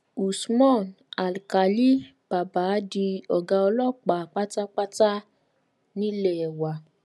usman alkálì bàbá di ọgá ọlọpàá pátápátá nílé wa